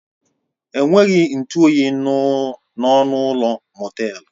Enweghị ntụ oyi n'ọnụ ụlọ mọtelu.